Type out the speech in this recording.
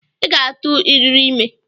I ga-atụ riri ime!